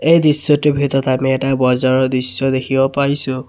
এই দৃশ্যটোৰ ভিতৰত আমি এটা বজাৰৰ দৃশ্য দেখিব পাইছোঁ।